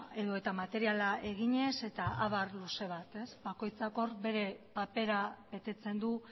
edota materiala eginez eta abar luze bat ez bakoitzak hor bere papera betetzen du